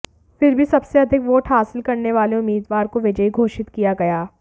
फिर भी सबसे अधिक वोट हासिल करने वाले उम्मीदवार को विजयी घोषित किया गया